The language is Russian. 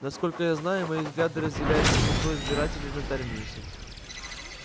насколько я знаю мои взгляды разделяют большинство избирателей на терминусе